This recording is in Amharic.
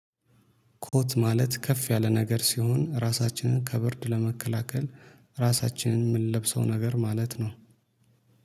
ኮት ማለት ከፍ ያለ ነገር ሲሆን ራሳችንን ከብርድ ለመከላከል ራሳችንን የምንለብሰው ነገር ማለት ነው።